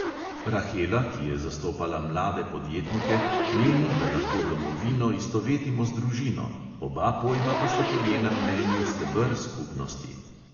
Rahela, ki je zastopala mlade podjetnike, meni, da lahko domovino istovetimo z družino, oba pojma pa sta po njenem mnenju steber skupnosti.